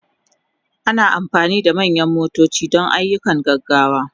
Ana amfani da manyan motoci don ayyukan gaggawa.